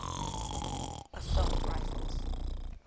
assault rifles